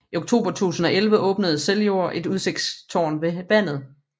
I oktober 2011 åbnede Seljord et udsigtstårn ved vandet